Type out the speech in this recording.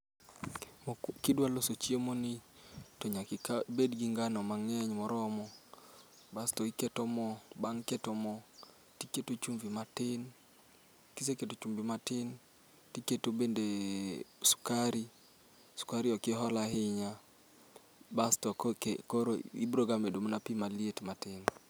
Kidwa loso chiemo ni to nyaki ka bedgi ngano mang'eny moromo, basto iketo mo. Bang' keto mo tiketo chumvi matin, kise keto chumbi matin, tiketo bende sukari, sukari okihol ahinya. Basto ko ki koro ibro ga medo mana pi maliet matin.